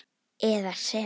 eða sem